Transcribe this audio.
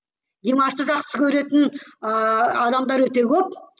димашты жақсы көретін ыыы адамдар өте көп